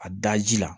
A da ji la